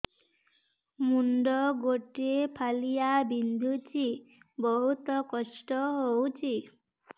ମୁଣ୍ଡ ଗୋଟେ ଫାଳିଆ ବିନ୍ଧୁଚି ବହୁତ କଷ୍ଟ ହଉଚି